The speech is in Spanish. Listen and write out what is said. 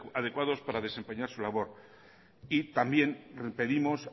adecuados para desempeñar su labor y también pedimos